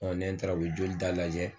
nɛ n taara u be joli da lajɛ